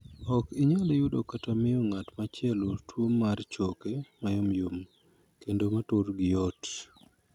Ok inyal yudo kata miyo ng'at machielo tuo mar choke mayomyom kendo ma turgi yot.